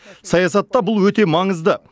саясатта бұл өте маңызды